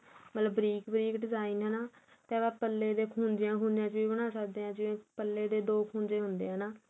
ਮਤਲਬ ਬਰੀਕ ਬਰੀਕ design ਹੈਨਾ ਤੇ ਆਪਾ ਪੱਲੇ ਦੇ ਖੁੱਜਿਆ ਵਿੱਚ ਵੀ ਬਣਾ ਸਕਦੇ ਏ ਜਿਵੇਂ ਪੱਲੇ ਦੇ ਦੋ ਖੁੱਜੇ ਹੁੰਦੇ ਏ ਹੈਨਾ